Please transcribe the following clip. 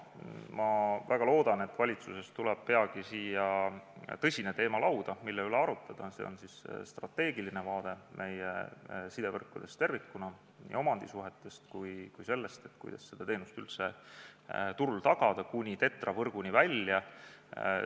Ma väga loodan, et valitsusest tuleb peagi siia lauale tõsine teema, mille üle arutada – strateegiline vaade meie sidevõrkudele tervikuna, nii omandisuhetele kui ka sellele, kuidas seda teenust üldse turul tagada kuni TETRA-võrguni välja.